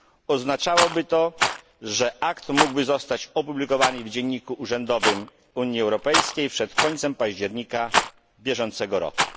Oznaczałoby to, że akt mógłby zostać opublikowany w Dzienniku Urzędowym Unii Europejskiej przed końcem października bieżącego roku.